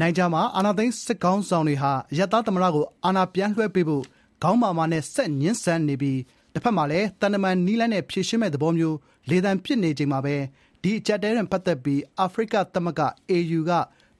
နိုင်ဂျာမှာ အာဏာသိမ်းစစ်ခေါင်းဆောင်တွေဟာ အရပ်သားသမ္မတကို အာဏာပြန်လွှဲပေးဖို့ ခေါင်းမာမာနဲ့ ဆက်ငြင်းဆန်နေပြီး တဖက်မှာလည်း သံတမန်နည်းလမ်းနဲ့ ဖြေရှင်းမယ့်သဘောမျိုး လေသံပစ်နေချိန်မှာပဲ ဒီအကျပ်အတည်းနဲ့ ပတ်သက်ပြီး အာဖရိကသမဂ္ဂ (AU) က